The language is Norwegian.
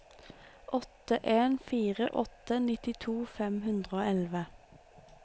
åtte en fire åtte nittito fem hundre og elleve